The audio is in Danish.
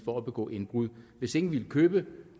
for at begå indbrud hvis ingen ville købe